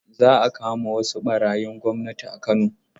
Za a kama wasu ɓarayin gwamnati a Kano.